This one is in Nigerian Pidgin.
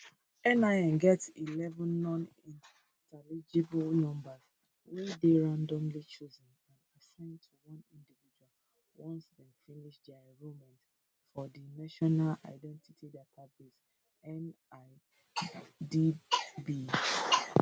nin get eleven nonintelligible numbers wey dey randomly chosen and assigned to one individual once dem finish dia enrolment for di national identity database nidb